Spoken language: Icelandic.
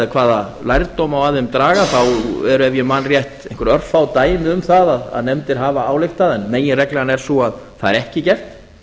hvaða lærdóm má af þeim draga þá eru ef ég man rétt einhver örfá dæmi um það að nefndir hafa ályktað en meginreglan er sú að það er ekki gert